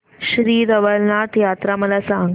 श्री रवळनाथ यात्रा मला सांग